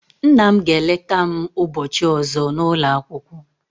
Nna m ga eleta m ubochi ozo na ulo akwukwo